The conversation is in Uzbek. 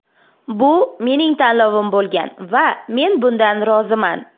Bu mening tanlovim bo‘lgan va men bundan roziman.